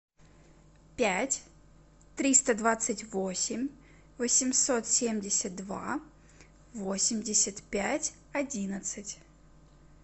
пять триста двадцать восемь восемьсот семьдесят два восемьдесят пять одиннадцать